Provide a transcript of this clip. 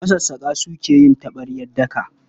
Masassaƙa suka yi taɓaryar daka.